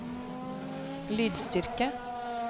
lydstyrke